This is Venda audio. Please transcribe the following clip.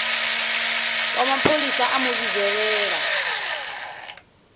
wa mapholisa a mu vhidzelela